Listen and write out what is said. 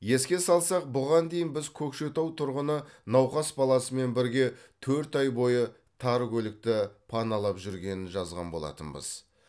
еске салсақ бұған дейін біз көкшетау тұрғыны науқас баласымен бірге төрт ай бойы тар көлікті паналап жүргенін жазған болатынбыз